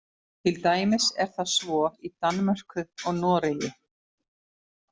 Til dæmis er það svo í Danmörku og Noregi.